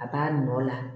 A b'a nɔ la